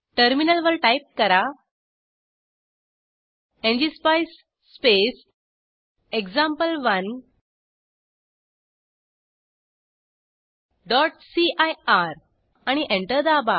टर्मिनलवर टाईप करा ngspice space example1सीआयआर आणि एंटर दाबा